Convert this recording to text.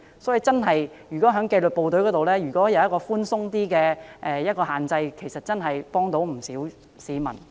所以，如果在紀律部隊宿舍能夠有較寬鬆的車位數目限制，可以幫助不少市民。